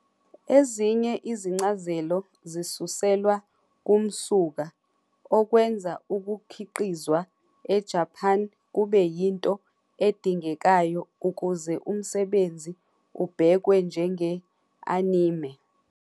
Ezinye izincazelo zisuselwa kumsuka, okwenza ukukhiqizwa eJapan kube yinto edingekayo ukuze umsebenzi ubhekwe njenge- "anime".